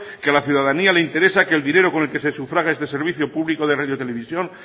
que a la ciudadanía le interesa que el dinero con el que se sufraga este servicio público de radio televisión